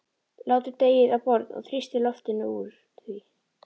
Látið deigið á borð og þrýstið loftinu úr því.